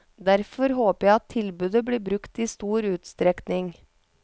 Derfor håper jeg at tilbudet blir brukt i stor utstrekning.